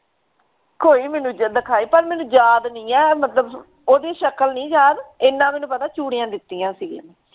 ਕੋਈ ਮੈਨੂੰ ਜੇ ਦਿਖਾਏ ਤਾਂ ਮੈਨੂੰ ਯਾਦ ਨਹੀਂ ਐ ਮਤਲਬ ਓਹਦੀ ਸ਼ਕਲ ਨਹੀ ਯਾਦ ਏਨਾ ਮੈਨੂੰ ਪਤਾ ਚੂੜੀਆਂ ਦਿਤੀਆਂ ਸੀ।